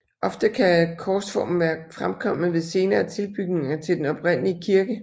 Ofte kan korsformen være fremkommet ved senere tilbygninger til den oprindelige kirke